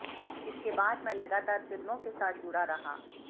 इसके बाद मैं लगातार फिल्मों के साथ जुड़ा रहा